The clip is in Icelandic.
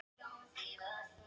Dregið í Meistaradeildinni